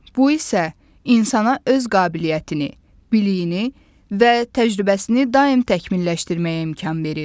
Bu isə insana öz qabiliyyətini, biliyini və təcrübəsini daim təkmilləşdirməyə imkan verir.